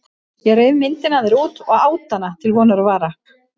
Ég reif myndina af þér út og át hana til vonar og vara.